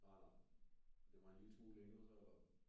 Nej nej men den var en lille smule længere så eller?